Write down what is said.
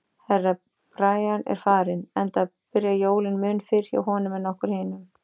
Herra Brian er farinn, enda byrja jólin mun fyrr hjá honum en okkur hinum.